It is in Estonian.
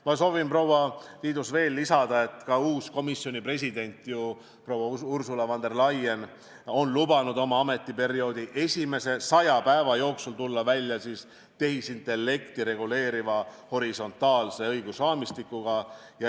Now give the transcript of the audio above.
Ma soovin, proua Tiidus, veel lisada, et ka uus komisjoni president proua Ursula von der Leyen on lubanud oma ametiperioodi esimese saja päeva jooksul tulla välja tehisintellekti reguleeriva horisontaalse õigusraamistikuga.